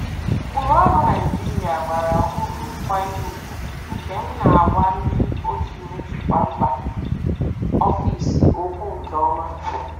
Ụkpụrụ ọrụ Naijiria bara uru nkwanye ùgwù, nke m na-agwa ndị otu njikwa mba ofesi okwu nke ọma.